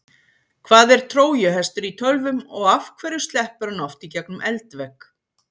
Hvað er trójuhestur í tölvum og af hverju sleppur hann oft í gegnum eldvegg?